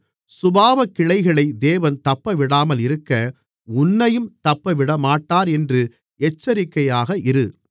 சுபாவக்கிளைகளை தேவன் தப்பவிடாமல் இருக்க உன்னையும் தப்பவிடமாட்டார் என்று எச்சரிக்கையாக இரு